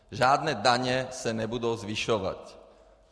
Žádné daně se nebudou zvyšovat.